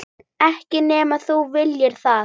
Ekki nema þú viljir það.